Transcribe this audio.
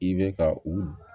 I bɛ ka u